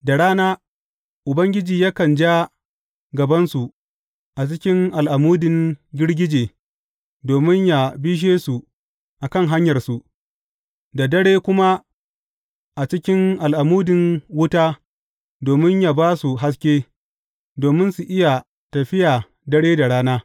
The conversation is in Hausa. Da rana Ubangiji yakan ja gabansu a cikin al’amudin girgije domin yă bishe su a kan hanyarsu, da dare kuma a cikin al’amudin wuta domin yă ba su haske, domin su iya tafiya dare da rana.